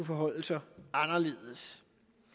forholder sig anderledes